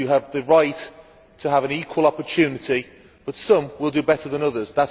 You have the right to have an equal opportunity, but some will do better than others.